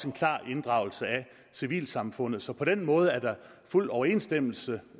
en klar inddragelse af civilsamfundet så på den måde er der fuld overensstemmelse